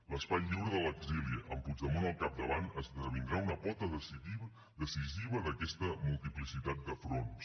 l’espai lliure de l’exili amb puigdemont al capdavant esdevindrà una pota decisiva d’aquesta multiplicitat de fronts